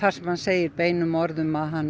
sem hann segir beinum orðum að hann